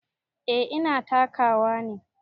Eh ina takawa ne.